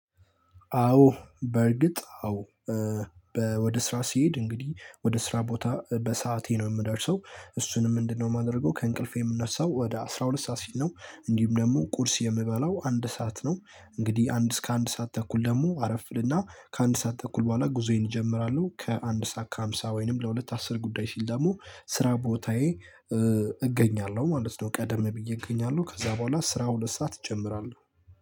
አዎ በእርግጥ አዎ ወደ ስራ ሲሄድ እንግዲህ ወደ ስራ ቦታ በሰአቴ ነው የምደርሰው። እሱንም ምንድነው የማድረገው ከእንቅልፌ የምነሳው ወደ አስራ ሁለት ሰዓት ሲል ነው። እንዲሁም ደግሞ ቁርስ የምበላው አንድ ሰዓት ነው። እንግዲህ አንድ እስከ አንድ ሰዓት ተኩል ደግሞ አረፍ እልና ከአንድ ሰዓት ተኩል በኋላ ጉዞዬን እጀምራለሁ ከአንድ ሰዓት ከሃምሳ ወይንም ለሁለት አስር ጉዳይ ሲል ደግሞ ስራ ቦታዬ እገኛለሁ ማለት ነው። ቀደም ብዬ እገኛለሁ ከዛ በኋላ ስራ ሁለት ሰዓት እጨምራለሁ